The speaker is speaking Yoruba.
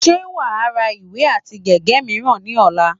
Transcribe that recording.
Ṣé wà á ra ìwé àti gègé mìíràn ní ọ̀la?